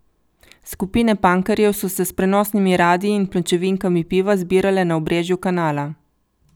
Skupine pankerjev so se s prenosnimi radii in pločevinkami piva zbirale na obrežju kanala.